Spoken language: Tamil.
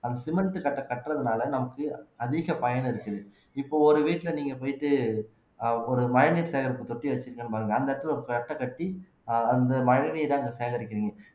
அந்த சிமெண்ட் கட்டை கட்டுறதுனால நமக்கு அதிக பயன் இருக்குது இப்போ ஒரு வீட்டுல நீங்க போயிட்டு ஒரு மழைநீர் சேகரிப்பு தொட்டி வச்சிருக்கேன் பாருங்க அந்த இடத்துல ஒரு தட்டை கட்டி அந்த மழைநீரை அங்க சேகரிக்கிறீங்க